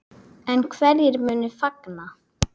En hverjir munu fagna?